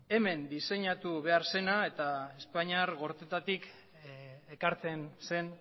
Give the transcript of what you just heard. hemen diseinatu behar zena eta espainiar gortetatik ekartzen zen